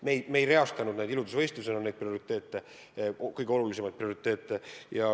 Me ei reastanud neid kõige jõulisemaid prioriteete nagu iludusvõistlusel.